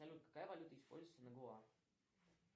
салют какая валюта используется на гоа